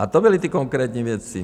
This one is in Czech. A to byly ty konkrétní věci.